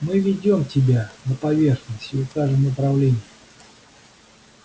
мы выведем тебя на поверхность и укажем направление